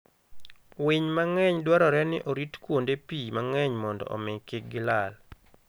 Winy mang'eny dwarore ni oritkuonde pii mang'eny mondo omi kik gilal.